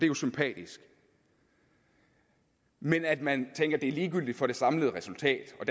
jo sympatisk men at man tænker at det er ligegyldigt for det samlede resultat og